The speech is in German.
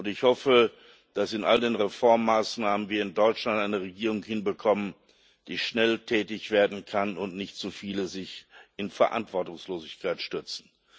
Ich hoffe, dass wir in all den Reformmaßnahmen in Deutschland eine Regierung hinbekommen, die schnell tätig werden kann, und nicht so viele sich in Verantwortungslosigkeit stürzen.